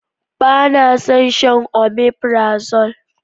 Ba na son shan omefrazole.